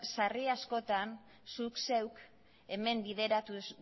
sarri askotan zuk zeuk hemen bideratu